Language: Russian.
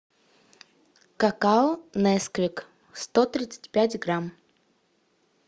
какао несквик сто тридцать пять грамм